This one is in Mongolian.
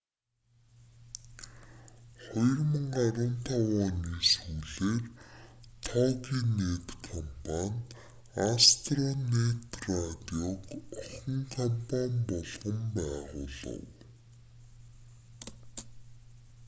2015 оны сүүлээр тогинэт компани астронэт радиог охин компани болгон байгуулав